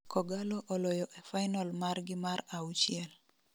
kogallo oloyo e final margi mar auchiel